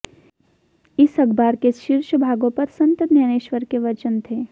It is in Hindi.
इस अखबार के शीर्ष भागों पर संत ज्ञानेश्वर के वचन थे